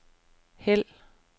hæld